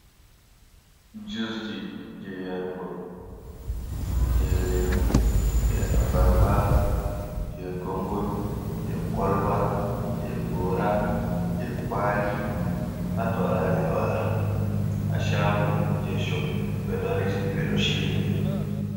Jusji jey yarugo, jey leemu, jey abarba, jey gongomi, jey koloba, jey goora, jey kuwali, pat walaa jey walaa, haa caago jey coggu, ɓe ɗo resi ɗi, ɓe ɗo sili ɗi.